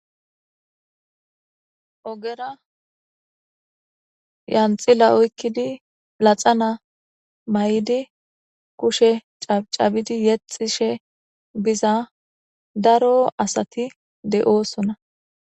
Ogera yanxila oykkidi laxana may'di kushe cabidi yexishe biza daro asati de'oosona.